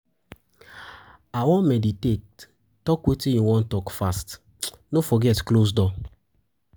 I wan meditate, talk wetin you wan talk fast. No forget close door.